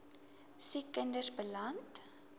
siek kinders beland